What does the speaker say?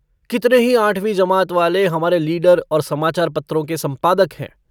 कितने ही आठवीं जमाअत वाले हमारे लीडर और समाचारपत्रों के सम्पादक हैं।